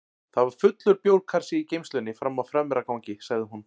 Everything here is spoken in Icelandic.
Það var fullur bjórkassi í geymslunni frammi á fremra gangi, sagði hún.